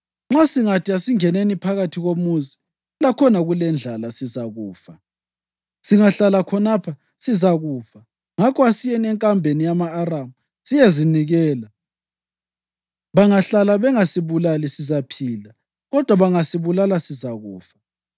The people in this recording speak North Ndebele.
Nxa singathi, ‘Asingeneni phakathi komuzi.’ Lakhona kulendlala, sizakufa. Singahlala khonapha, sizakufa. Ngakho asiyeni enkambeni yama-Aramu siyezinikela. Bangahlala bengasibulali, sizaphila; kodwa bangasibulala, sizakufa.”